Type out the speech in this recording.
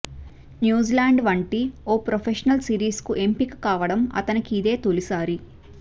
New Zealand వంటి ఓ professional సిరీస్కు ఎంపిక కావడం అతనికి ఇదే తొలిసారి